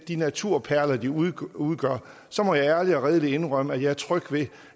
de naturperler de udgør udgør så må jeg ærligt og redeligt indrømme at jeg er tryg ved